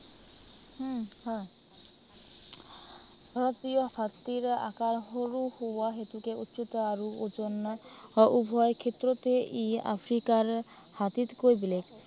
উম হয়। ভাৰতীয় হাতীৰ আকাৰ সৰু হোৱা হেতুকে উচিত আৰু ওজন উভয় ক্ষেত্ৰতেই ই আফ্ৰিকাৰ হাতীতকৈ বেলেগ